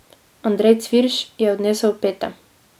Andrej Cvirš je odnesel pete.